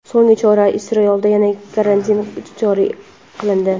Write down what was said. So‘nggi chora: Isroilda yana karantin joriy qilindi.